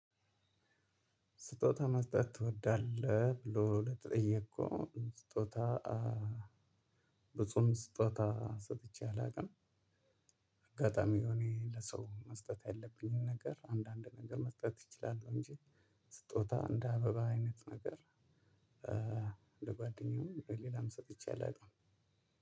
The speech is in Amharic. ስጦታ መስጠት ትወዳለህ ብሎ ለተጠየቅኩ ስጦታ ብፁም ስጦታ ሰጥቼ አላውቅም። አጋጣሚ የሆነ ለሰው መስጠት የለብኝም ነገር አንዳንድ ነገር መስጠት ይችላሉ እንጂ ስጦታ እንደ አበባ አይነት ነገር ለጓደኛዬም ሌላም ሰጥቼ አላውቅም።